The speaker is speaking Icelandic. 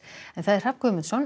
Hrafn Guðmundsson